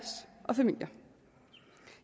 og familier